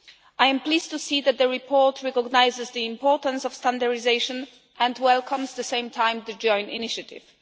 I am pleased to see that the report recognises the importance of standardisation and welcomes at the same time the joint initiative.